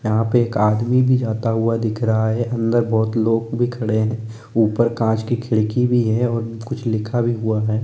यहां पे एक आदमी भी जाता हुआ दिख रहा है अंदर बहुत लोग भी खड़े हैं ऊपर कांच की खिड़की भी है और कुछ लिखा भी हुआ है ।